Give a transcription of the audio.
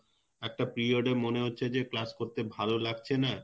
একটা period এ মনে হচ্ছে class করতে ভালো লাগছে না